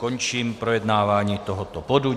Končím projednávání tohoto bodu.